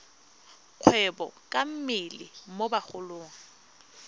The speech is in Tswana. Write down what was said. kgwebo ka mmele mo bagolong